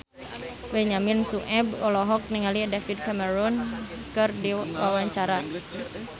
Benyamin Sueb olohok ningali David Cameron keur diwawancara